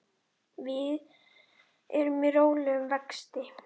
Við erum í rólegum vexti.